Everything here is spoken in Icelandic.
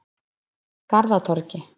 Garðatorgi